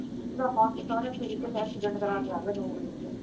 ਉਹਦਾ ਹੱਥ ਸਾਰਾ ਐਕਸੀਡੈਂਟ ਕਰਾ ਕੇ ਆ ਗਿਆ ਨੋਂ ਵਜੇ।